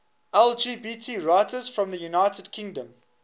lgbt writers from the united kingdom